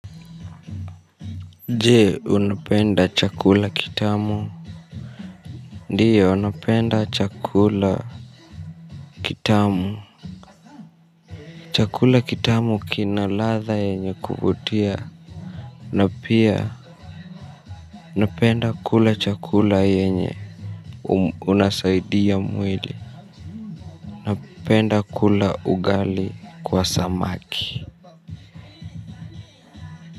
Jee unapenda chakula kitamu. Ndio napenda chakula kitamu, chakula kitamu kina ladha yenye kuvutia. Na pia napenda kula chakula yenye inasaidia mwili napenda kula ugali kwa samaki.